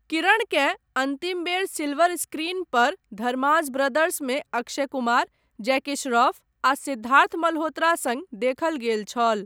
किरणकेँ अन्तिम बेर silver screen पर धर्माज ब्रदर्समे अक्षय कुमार, जैकी श्रॉफ आ सिद्धार्थ मल्होत्रा सङ्ग देखल गेल छल।